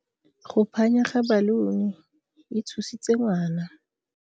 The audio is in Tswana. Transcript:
Go phanya ga baluni e tshositse ngwana.